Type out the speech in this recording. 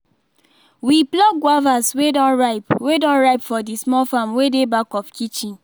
we pluck guavas wey don ripe wey don ripe for the small farm wey dey back of kitchen